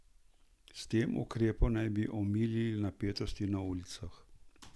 S tem ukrepom naj bi omilili napetosti na ulicah.